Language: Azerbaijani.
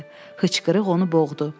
Xıçqırıq onu boğdu.